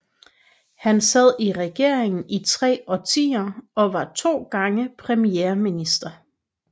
Han sad i regeringen i tre årtier og var to gange premierminister